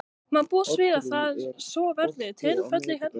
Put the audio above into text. Má búast við að það, svo verði tilfellið hérna?